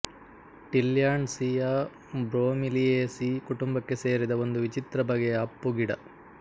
Tillandsia ಬ್ರೊಮೀಲಿಯೇಸೀ ಕುಟುಂಬಕ್ಕೆ ಸೇರಿದ ಒಂದು ವಿಚಿತ್ರ ಬಗೆಯ ಅಪ್ಪು ಗಿಡ